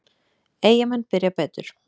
Eyjamenn byrja betur.